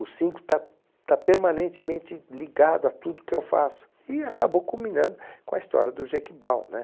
O cinco está está permanentemente ligado a tudo que eu faço e acabou culminando com a história do Jequibau, né?